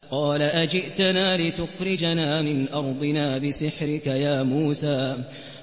قَالَ أَجِئْتَنَا لِتُخْرِجَنَا مِنْ أَرْضِنَا بِسِحْرِكَ يَا مُوسَىٰ